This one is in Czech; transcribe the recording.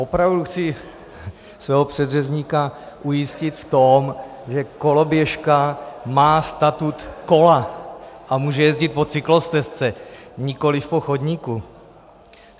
Opravdu chci svého předřečníka ujistit v tom, že koloběžka má statut kola a může jezdit po cyklostezce, nikoli po chodníku.